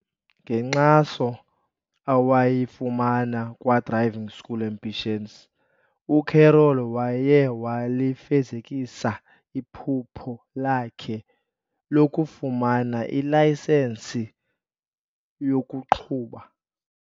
Ngenkxaso awayifumana kwa-Driving School Ambitions, uCarol waye walifezekisa iphupho lakhe lokufumana ilayisenisi yokuqhuba.